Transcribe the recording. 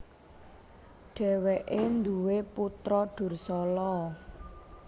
Dhèwèké nduwé putra Dursala